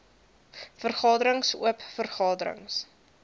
vergaderings oop vergaderings